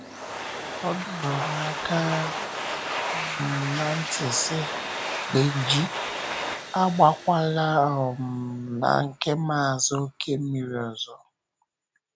Ọ dọrọ m aka um ná ntị, sị: “Bénjì, agbàkwàlà um na nke Maazị Okemiri ọzọ.”